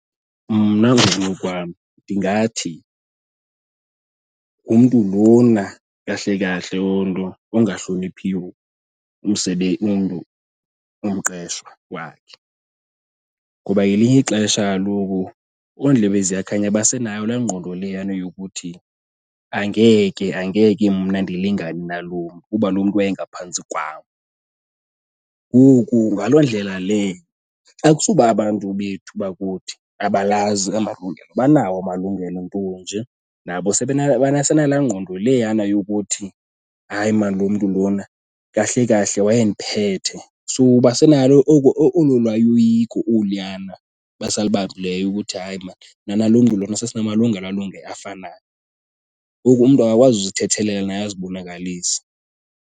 Mna ngokunokwam ndingathi ngumntu lona kahle kahle loo ungahloniphi umntu, umqeshwa wakhe. Ngoba ngelinye ixesha kaloku ondlebeziyakhanya basenayo laa ngqondo leyana yokuthi angeke angeke mna ndilingane nalo mntu, kuba lo mntu wayengaphantsi kwam. Ngoku ngaloo ndlela le akusuba abantu bethu bakuthi abalazi amalungelo, banawo amalungelo nto nje nabo basenala ngqondo leyana yokuthi hayi maan lo mntu lona, kahle kahle wayendiphethe. So basenalo olo lwayiko oluyana basalibambileyo ukuthi hayi maan, mna nalo mntu lona sasinamalungelo alunge afanayo, ngoku umntu akakwazi kuzithethelela naye azibonakalise.